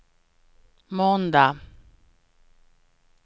måndag